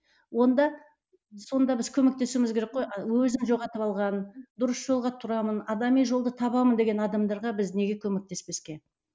онда сонда біз көмектесуіміз керек қой а өзін жоғалтып алған дұрыс жолға тұрамын адами жолды табамын деген адамдарға біз неге көмектеспеске